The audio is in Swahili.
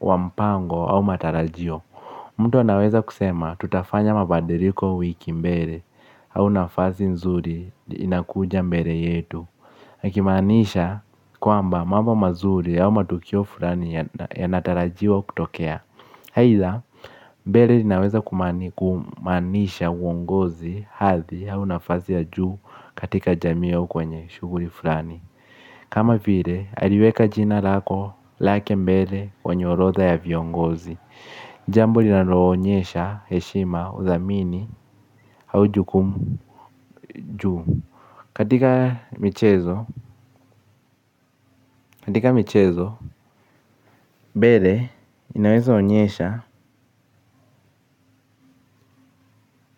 wampango au matarajio. Mtu anaweza kusema, tutafanya mabadiriko, wiki mbere au nafasi nzuri, inakuja mbere yetu. Ikimaanisha, kwamba, mambo mazuri au matukio furani yanatarajiwa kutokea. Haitha, mbere linaweza kumaanisha uongozi, hathi au nafasi ya juu katika jamiiau kwenye shuguri fulani kama file, aliweka jina lako lake mbere kwenye orotha ya viongozi. Jambo lina loonyesha heshima, uthamini hau jukumu ju. Katika michezo, katika michezo, bele inaweza onyesha,